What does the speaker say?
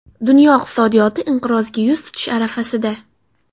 Dunyo iqtisodiyoti inqirozga yuz tutish arafasida.